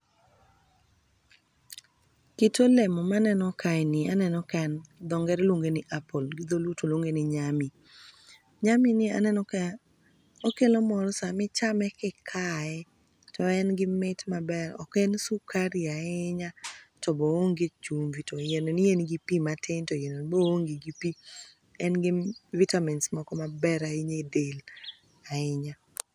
Kit olemo maneno kaeni, aneno ka en gi dhoo ngere iluonge ni apple gi dholuo tiluonge ni nyami. Nyami ni aneno ka okelo mor sama ichame kikae to engi mit maber ok en sukari ahinya to bo oonge chumvi to iyeno ni engi pii matin to iyeno ni bo oonge gi pii. Engi vitamins moko maber ahinya edel ahinya.